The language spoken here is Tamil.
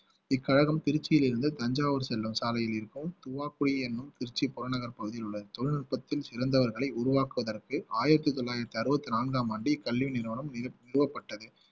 இக்கழகம் திருச்சியிலிருந்து தஞ்சாவூர் செல்லும் சாலையில் இருக்கும் துவாக்குழி என்னும் திருச்சி புறநகர் பகுதியில் உள்ள தொழில்நுட்பத்தில் சிறந்தவர்களை உருவாக்குவதற்கு ஆயிரத்தி தொள்ளாயிரத்தி அறுபத்தி நான்காம் ஆண்டு கல்வி நிறுவனம் நிறுவ~ நிறுவப்பட்டது